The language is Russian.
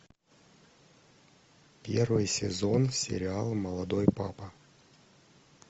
первый сезон сериала молодой папа